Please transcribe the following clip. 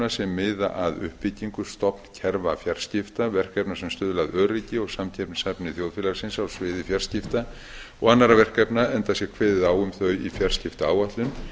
sem miða að uppbyggingu stofnkerfa fjarskipta verkefna sem stuðla að öryggi og samkeppnishæfni þjóðfélagsins á sviði fjarskipta og annarra verkefna enda sé kveðið á um þau í fjarskiptaáætlun